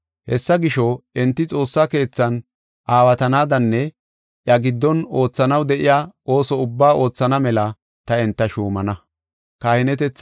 Hessa gisho enti Xoossa keethan aawatanadanne iya giddon oothanaw de7iya ooso ubbaa oothana mela ta enta shuumana.